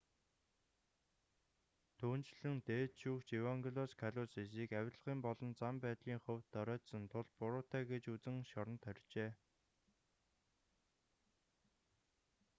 түүнчлэн дээд шүүгч евангелос калусисийг авилгын болон зан байдлын хувьд доройтсон тул буруутай гэж үзэн шоронд хорьжээ